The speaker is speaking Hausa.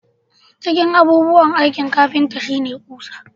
Cikin abubuwan aikin kafinta shi ne ƙusa